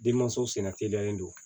Denmanso senna teliyalen don